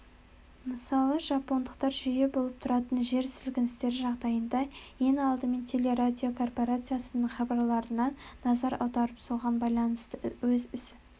мысалы жапондықтар жиі болып тұратын жер сілкіністері жағдайында ең алдымен телерадиокорпарациясының хабарларына назар аударып соған байланысты өз іс